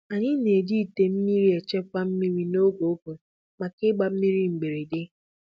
Anyị na-eji ite mmiri echekwa mmiri n'oge ụgụrụ maka ịgba mmiri mberede.